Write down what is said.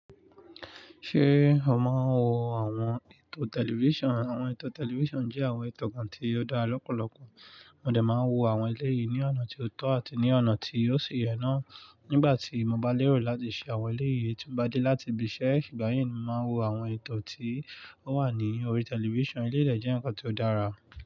Ṣé o máa ń wo àwọn eto tẹlifíṣàn? Àwọn eto tẹlifíṣàn jẹ́ àwọn eto kan tí ó dára lọ́pọ̀lọpọ̀. Mo dè máa wo àwọn eléyìí ní ọ̀nà tí ó tọ́ àti ní ọ̀nà tí ó ṣi yẹ náà. Nígbà tí mo bá lérò láti ṣe àwọn eléyìí, tí mo bá dé láti ibi iṣẹ́, ìgbà yẹn ni mo máa wo àwọn eto tí ó wà ní orí tẹlifíṣàn. Eléyi dé jẹ́ ǹkan tí ó dára.